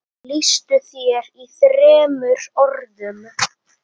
Lýstu þér í þremur orðum.